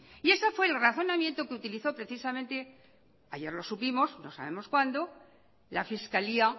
y ese fue el razonamiento que utilizó precisamente ayer lo supimos no sabemos cuándo la fiscalía